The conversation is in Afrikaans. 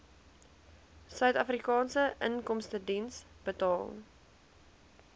suidafrikaanse inkomstediens betaal